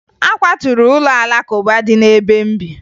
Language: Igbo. A kwaturu ụlọ Alakụba dị n'ebe m bi